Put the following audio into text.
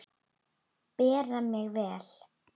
Bera mig vel?